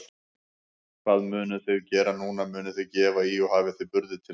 Hvað munuð þið gera núna, munuð þið gefa í og hafið þið burði til þess?